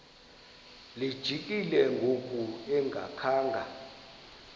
lijikile ngoku engakhanga